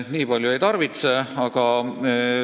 Nii palju ei tarvitsegi.